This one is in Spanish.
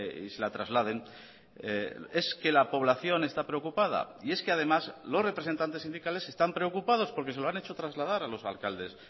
y se la trasladen es que la población está preocupada y es que además los representantes sindicales están preocupados porque se lo han hecho trasladar a los alcaldes